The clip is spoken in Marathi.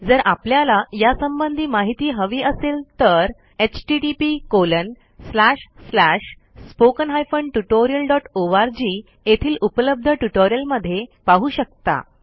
जर आपल्याला यासंबंधी माहिती हवी असेल तर httpSpoken Tutorialorg येथील उपलब्ध ट्युटोरियलमध्ये पाहू शकता